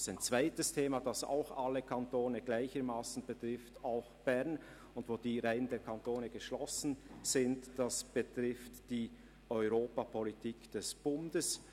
Ein zweites Thema, das auch alle Kantone gleichermassen betrifft, also auch Bern, und bei welchem die Reihen der Kantone geschlossen sind, betrifft die Europapolitik des Bundes.